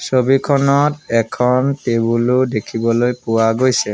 ছবিখনত এখন টেবুল ও দেখিবলৈ পোৱা গৈছে।